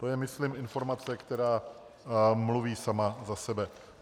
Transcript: To je myslím informace, která mluví sama za sebe.